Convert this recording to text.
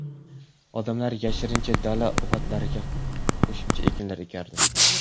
Odamlar yashirincha dala uvatlariga qo‘shimcha ekinlar ekardi.